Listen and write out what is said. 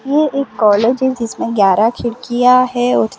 ये एक कॉलेज है। जिसमें ग्यारह खिड़कियां हैं और --